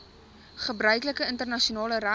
gebruiklike internasionale reg